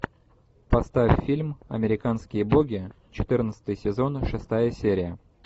поставь фильм американские боги четырнадцатый сезон шестая серия